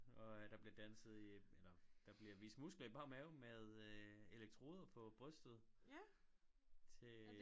Og der bliver danset i eller der bliver vist muskler i bar mave med øh elektroder på brystet til